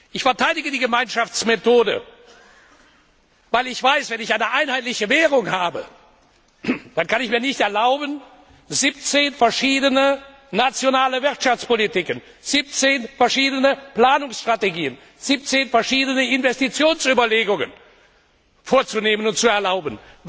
Ich verteidige die Gemeinschaftsmethode, weil ich weiß Wenn ich eine einheitliche Währung habe, dann kann ich mir nicht erlauben, 17 verschiedene nationale Wirtschaftspolitiken, 17 verschiedene Planungsstrategien, 17 verschiedene Investitionsüberlegungen vorzunehmen und zu erlauben.